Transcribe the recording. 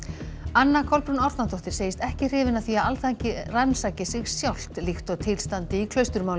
anna Kolbrún Árnadóttir segist ekki hrifin af því að Alþingi rannsaki sig sjálft líkt og til standi í